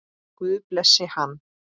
Guð blessi hann.